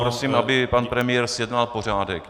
Prosím, aby pan premiér zjednal pořádek.